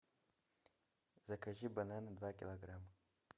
закажи бананы два килограмма